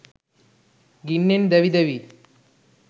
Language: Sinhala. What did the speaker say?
ගින්නෙන් දැවි දැවී